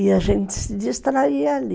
E a gente se distraía ali.